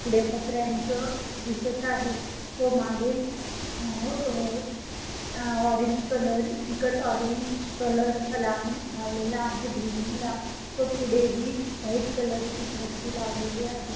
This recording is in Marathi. पुढे पत्रांचं दिसत आहे मागे अ ऑरेंज कलर फिकट ऑरेंज कलर लावून लावलेला आहे बिल्डिंग ला तो पुढेही व्हाईट कलर ची फरशी लावलेली आहेत.